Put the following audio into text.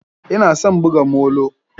Ina son buga molo.